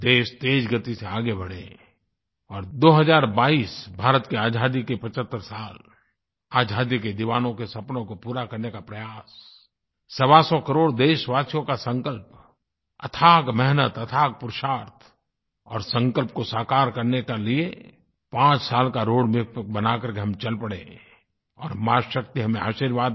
देश तेज़ गति से आगे बढ़े और दो हज़ार बाईस 2022 भारत की आज़ादी के 75 साल आज़ादी के दीवानों के सपनों को पूरा करने का प्रयास सवासौ करोड़ देशवासियों का संकल्प अथाह मेहनत अथाह पुरुषार्थ और संकल्प को साकार करने के लिए पांच साल का रोड एमएपी बना करके हम चल पड़े और माँ शक्ति हमे आशीर्वाद दे